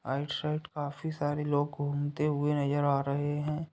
Side काफी सारे लोग घूमते हुए नज़र आ रहे हैं।